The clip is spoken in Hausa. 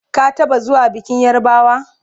ka taɓa zuwa bikin yarbawa?